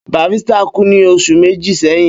Barrister kú ní oṣù méjì sẹ́yìn